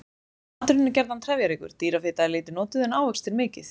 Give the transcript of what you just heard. Maturinn er gjarnan trefjaríkur, dýrafita er lítið notuð en ávextir mikið.